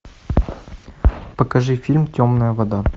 покажи фильм темная вода